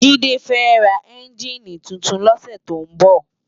Jide fè rá ènjiní tútún lòsè tó n bò